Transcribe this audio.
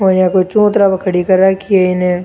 ओ इया कोई चून्तर पर खड़ी कर राखी है इन।